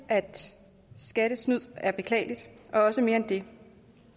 skattesnyd er beklageligt og også mere end det